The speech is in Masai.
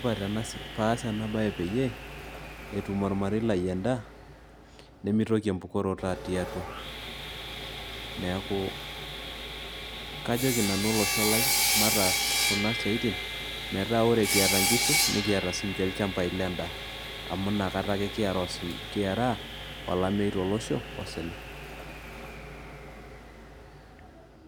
Kifaa paas ena baye peyie etum ormarei lai endaa nemitoki empukoroto atii atua neeku kajoki nanu olosho lai mataas kuna siaitin metaa ore kiata nkishu nikiata sininche ilchambai lendaa amu inakata ake kiaraa olameyu tolosho osina.